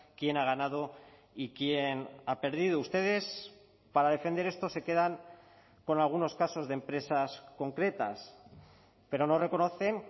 quién ha ganado y quién ha perdido ustedes para defender esto se quedan con algunos casos de empresas concretas pero no reconocen